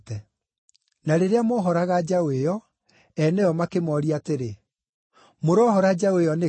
Na rĩrĩa moohoraga njaũ ĩyo, eene yo makĩmooria atĩrĩ, “Mũroohora njaũ ĩyo nĩkĩ?”